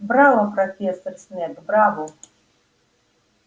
браво профессор снегг браво